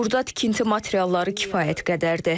Burda tikinti materialları kifayət qədərdir.